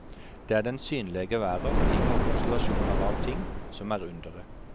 Det er den synlege verda, ting og konstellasjonar av ting, som er underet.